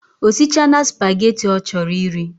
Osichana spaghetti ochoro iri